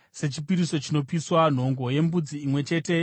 nhongo yembudzi imwe chete yechipiriso chechivi;